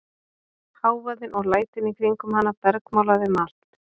Hávaðinn og lætin í kringum hana bergmálaði um allt.